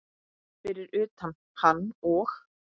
Fyrir utan hann og